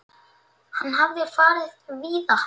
Hann hafði farið víða.